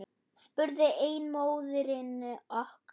spurði ein móðirin okkur.